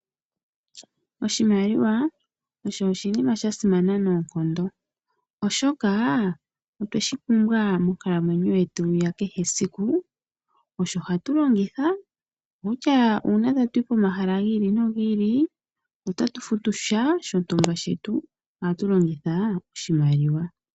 Oshimaliwa osho oshinima aha simana noonkondo oshoka otwe shi pumbwa monkalamwenyo yetu ya kehe siku osho hatu longitha kutya uuna tatu yi pomahala gi ili nohi ili, otatu futu sha shontumba shetu ohatu longitha oshimaliwa.